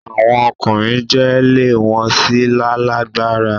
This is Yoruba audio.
Awọn ọkunrin jẹ le won si lalagbara